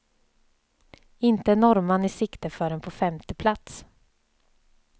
Inte en norrman i sikte förrän på femte plats.